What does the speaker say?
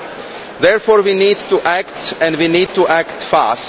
We therefore need to act, and we need to act fast.